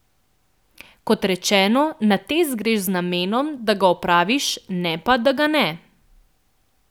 Kot rečeno, na test greš z namenom, da ga opraviš, ne pa, da ga ne.